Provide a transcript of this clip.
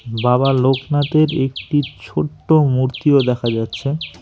বাবা লোকনাথের একটি ছোট্ট মূর্তিও দেখা যাচ্ছে।